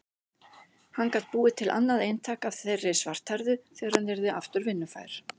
Hann gat búið til annað eintak af þeirri svarthærðu þegar hann yrði aftur vinnufær.